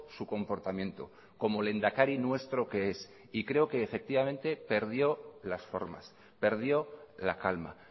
su comportamiento como lehendakari nuestro que es y creo que efectivamente perdió las formas perdió la calma